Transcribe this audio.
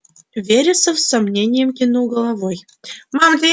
вересов с сомнением кивнул головой